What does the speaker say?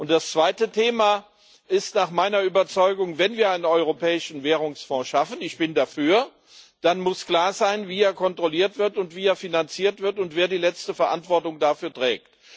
Das zweite Thema ist nach meiner Überzeugung Wenn wir einen Europäischen Währungsfonds schaffen ich bin dafür dann muss klar sein, wie er kontrolliert wird und wie er finanziert wird und wer die letzte Verantwortung dafür trägt.